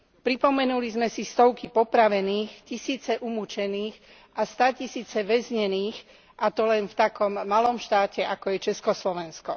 Pripomenuli sme si stovky popravených, tisíce umučených a státisíce väznených, a to len v takom malom štáte, ako je Československo.